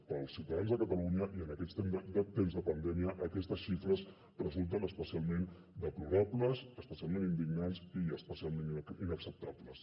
per als ciutadans de catalunya i en aquests temps de pandèmia aquestes xifres resulten especialment deplorables especialment indignants i especialment inacceptables